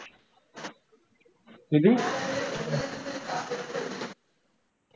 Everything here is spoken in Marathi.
किती?